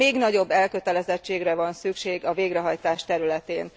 Még nagyobb elkötelezettségre van szükség a végrehajtás területén.